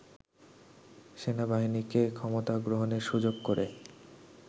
সেনাবাহিনীকে ক্ষমতা গ্রহণের সুযোগ করে